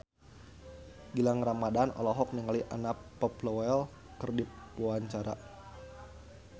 Gilang Ramadan olohok ningali Anna Popplewell keur diwawancara